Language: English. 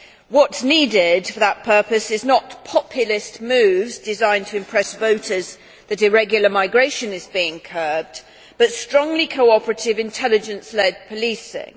What is needed for that purpose is not populist moves designed to impress voters that irregular migration is being curbed, but strongly cooperative intelligence led policing.